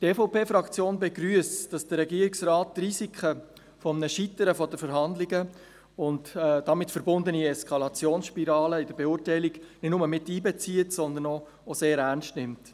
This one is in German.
Die EVP Fraktion begrüsst, dass der Regierungsrat die Risiken eines Scheiterns der Verhandlungen und damit verbundene Eskalationsspiralen nicht nur in die Beurteilung miteinbezieht, sondern auch sehr ernst nimmt.